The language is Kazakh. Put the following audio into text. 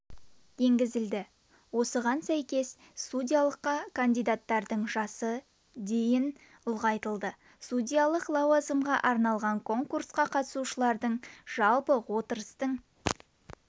енгізілді осыған сәйкес судьялыққа кандидаттардың жасы дейін ұлғайтылды судьялық лауазымға арналған конкурсқа қатысушылардың жалпы отырыстың